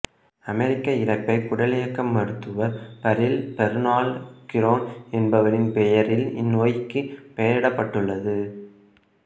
அமெரிக்க இரைப்பை குடலியக்க மருத்துவர் பர்ரில் பெர்னார்டு கிரோன் என்பவரின் பெயரில் இந்நோய்க்கு பெயரிடப்பட்டுளது